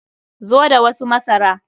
Zo da wasu masara!